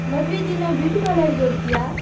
ಮದ್ವೆ ದಿನ beauty parlour ಹೋಗ್ತೀಯಾ?